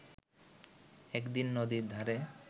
একদিন নদীর ধারে